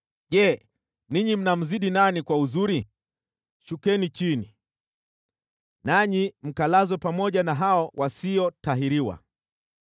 Je, ninyi mnamzidi nani kwa uzuri? Shukeni chini! Nanyi mkalazwe pamoja na hao wasiotahiriwa!